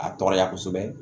A tɔɔrɔya kosɛbɛ